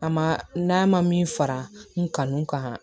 A ma n'a ma min fara n kanu kan